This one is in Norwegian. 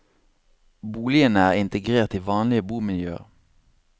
Boligene er integrert i vanlig bomiljøer.